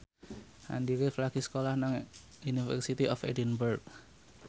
Andy rif lagi sekolah nang University of Edinburgh